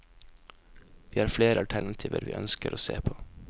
Vi har flere alternativer vi ønsker å se på.